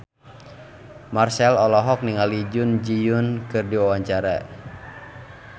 Marchell olohok ningali Jun Ji Hyun keur diwawancara